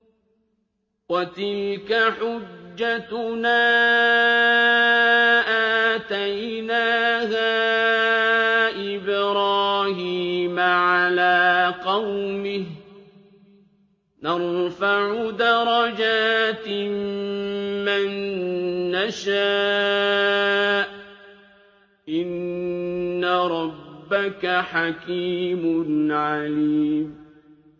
وَتِلْكَ حُجَّتُنَا آتَيْنَاهَا إِبْرَاهِيمَ عَلَىٰ قَوْمِهِ ۚ نَرْفَعُ دَرَجَاتٍ مَّن نَّشَاءُ ۗ إِنَّ رَبَّكَ حَكِيمٌ عَلِيمٌ